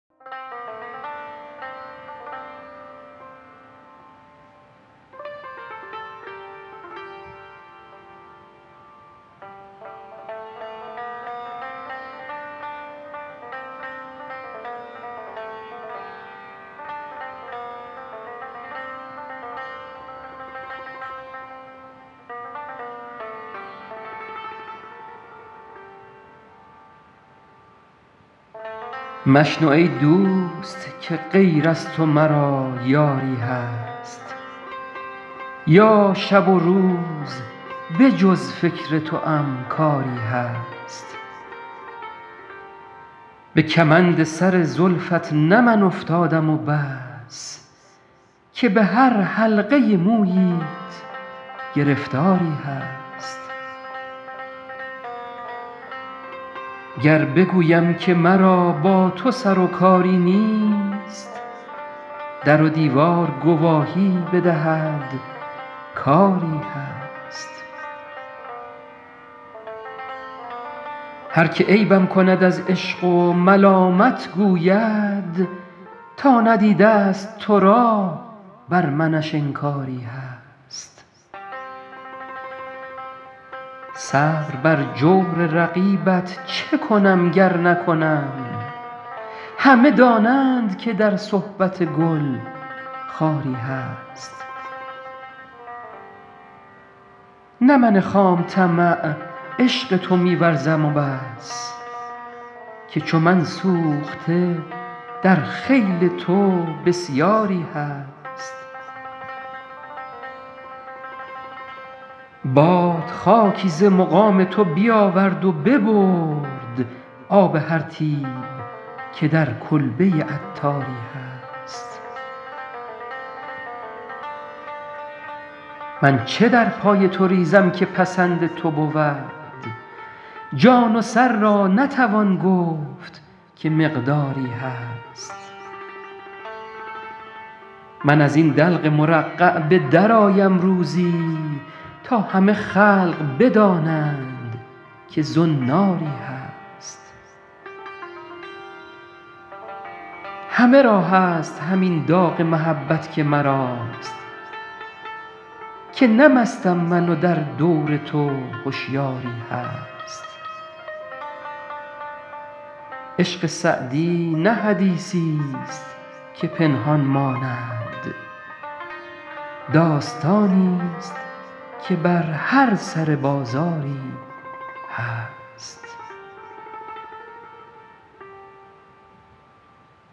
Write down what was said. مشنو ای دوست که غیر از تو مرا یاری هست یا شب و روز به جز فکر توام کاری هست به کمند سر زلفت نه من افتادم و بس که به هر حلقه موییت گرفتاری هست گر بگویم که مرا با تو سر و کاری نیست در و دیوار گواهی بدهد کآری هست هر که عیبم کند از عشق و ملامت گوید تا ندیده است تو را بر منش انکاری هست صبر بر جور رقیبت چه کنم گر نکنم همه دانند که در صحبت گل خاری هست نه من خام طمع عشق تو می ورزم و بس که چو من سوخته در خیل تو بسیاری هست باد خاکی ز مقام تو بیاورد و ببرد آب هر طیب که در کلبه عطاری هست من چه در پای تو ریزم که پسند تو بود جان و سر را نتوان گفت که مقداری هست من از این دلق مرقع به درآیم روزی تا همه خلق بدانند که زناری هست همه را هست همین داغ محبت که مراست که نه مستم من و در دور تو هشیاری هست عشق سعدی نه حدیثی است که پنهان ماند داستانی است که بر هر سر بازاری هست